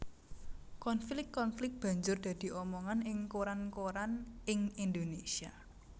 Konflik konflik banjur dadi omongan ing koran koran ing Indonésia